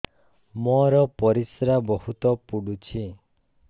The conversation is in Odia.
ମୋର ପରିସ୍ରା ବହୁତ ପୁଡୁଚି